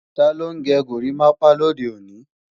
Taló ń gẹ górimápá lòde òní?